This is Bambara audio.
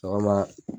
Sɔgɔma